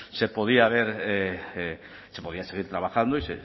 se podía haber se podía seguir trabajando y